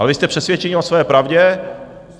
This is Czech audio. Ale vy jste přesvědčení o své pravdě.